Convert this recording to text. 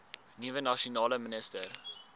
nuwe nasionale minister